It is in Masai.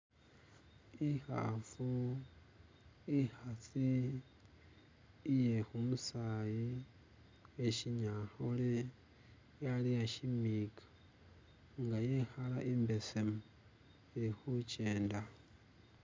Ikhafu ikhasi iye kumusayi kwe shinyankole yaleya tsinzika nga iyekala imbesemu ilikukenda